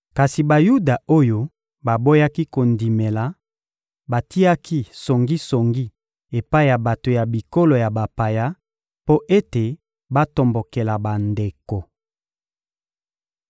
Kasi Bayuda oyo baboyaki kondimela batiaki songisongi epai ya bato ya bikolo ya bapaya mpo ete batombokela bandeko.